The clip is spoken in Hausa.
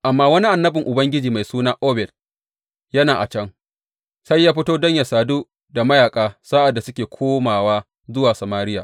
Amma wani annabin Ubangiji mai suna Oded yana a can, sai ya fito don yă sadu da mayaƙa sa’ad da suke komowa zuwa Samariya.